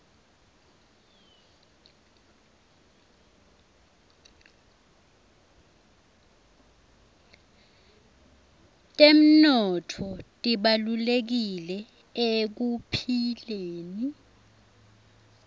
temnotfo tibalulekile ekuphileni